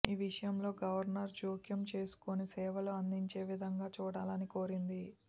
ఈ విషయంలో గవర్నర్ జోక్యం చేసుకొని సేవలు అందించేవిధంగా చూడాలని కోరింది